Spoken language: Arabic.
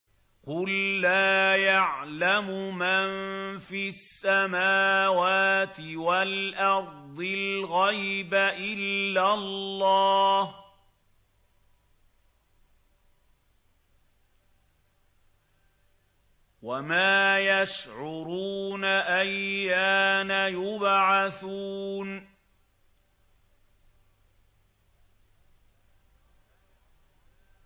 قُل لَّا يَعْلَمُ مَن فِي السَّمَاوَاتِ وَالْأَرْضِ الْغَيْبَ إِلَّا اللَّهُ ۚ وَمَا يَشْعُرُونَ أَيَّانَ يُبْعَثُونَ